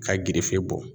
K'a girife bɔ